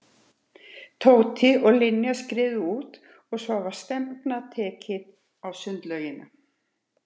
Tóti og Linja skriðu út og svo var stefnan tekin á sundlaugina.